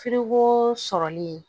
Fuko sɔrɔli